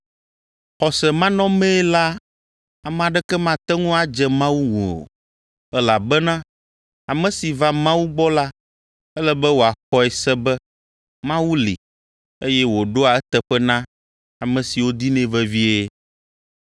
Xɔse manɔmee la ame aɖeke mate ŋu adze Mawu ŋu o, elabena ame si va Mawu gbɔ la ele be wòaxɔe se be Mawu li eye wòɖoa eteƒe na ame siwo dinɛ vevie.